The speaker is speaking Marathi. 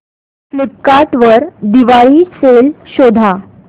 फ्लिपकार्ट वर दिवाळी सेल शोधा